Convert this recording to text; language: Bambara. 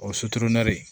O ye